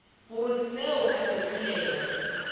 gore seo a se kwelego